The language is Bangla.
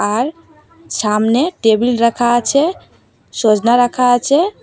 আর সামনে টেবিল রাখা আছে সজনা রাখা আছে।